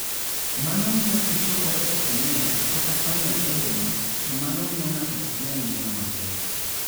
Mano miyo pi chokore e kornea (corneal edema), to mano miyo ng'ato ok nyal neno maber.